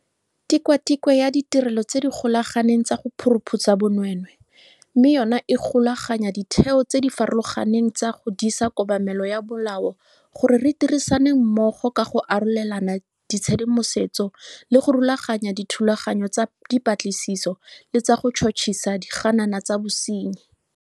Tikwatikwe ya Ditirelo tse di Golaganeng tsa go Phuruphutsha Bonweenwee, mme yona e golaganya ditheo tse di farologaneng tsa go disa kobamelo ya molao gore di dirisane mmogo ka go arolelana tshedimosetso le go rulaganya dithulaganyo tsa dipatlisiso le tsa go tšhotšhisa diganana tsa bosenyi.